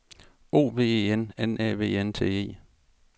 O V E N N Æ V N T E